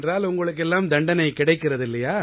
உங்களுக்கு எல்லாம் தண்டனை கிடைக்கிறது இல்லையா